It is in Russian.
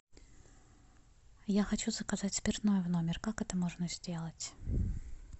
я хочу заказать спиртное в номер как это можно сделать